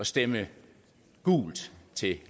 stemme gult til